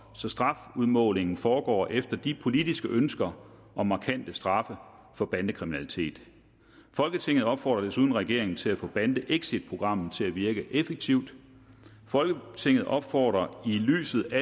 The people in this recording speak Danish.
så strafudmålingen foregår efter de politiske ønsker om markante straffe for bandekriminalitet folketinget opfordrer desuden regeringen til at få bandeexitprogrammet til at virke effektivt folketinget opfordrer i lyset